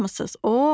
Nə tapmısız?